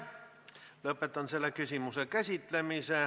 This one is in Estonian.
Lõpetan selle küsimuse käsitlemise.